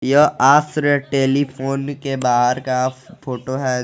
यह आस्र टेलीफोन के बाहर का फोटो है।